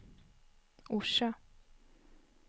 Orsa